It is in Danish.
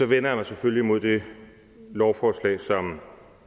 vender jeg mig selvfølgelig mod det lovforslag som